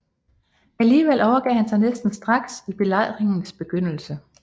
Alligevel overgav han sig næsten straks i belejringens begyndelse